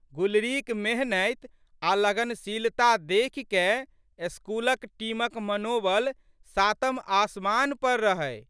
गुलरीक मेहनति आ लगनशीलता देखिकए स्कूलक टीमक मनोबल सातम आसमान पर रहै।